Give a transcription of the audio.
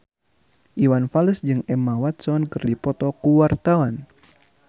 Iwan Fals jeung Emma Watson keur dipoto ku wartawan